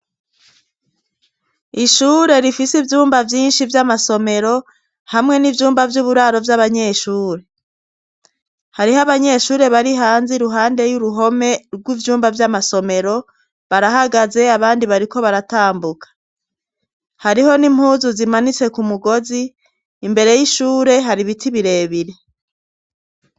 Ishure rifise ivyumba vyinshi vy'amasomero hamwe n'ivyumba vy'uburaro vy'abanyeshuri hariho abanyeshuri bari hanze i ruhande y'uruhome rw'ivyumba vy'amasomero barahagaze abandi bariko baratambuka hariho n'impuzu zimanitse ku mugozi imbere y'ishure hari ibiti birebire.